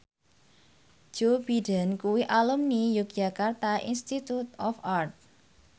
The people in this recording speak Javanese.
Joe Biden kuwi alumni Yogyakarta Institute of Art